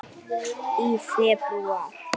Í febrúar